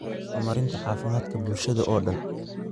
horumarinta caafimaadka bulshada oo dhan.